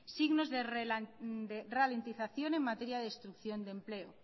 signos de ralentización en materia de destrucción de empleo